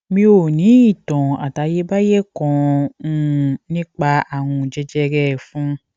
mi ò ní ìtàn àtayébáyé kan um nípa àrùn jẹjẹrẹ ẹfun